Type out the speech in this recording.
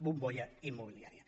bombolla immobiliària